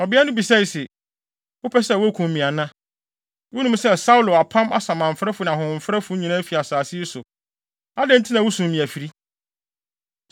Ɔbea no bisae se, “Wopɛ sɛ wokum me ana? Wunim sɛ Saulo apam asamanfrɛfo ne ahohomfrɛfo nyinaa afi asase yi so. Adɛn nti na wusum me afiri?”